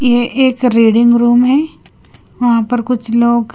ये एक reading room है वहां पर कुछ लोग--